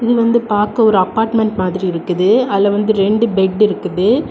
இது வந்து பாக்க ஒரு அபார்ட்மெண்ட் மாதிரி இருக்குது அதுல வந்து ரெண்டு பெட்டு இருக்குது.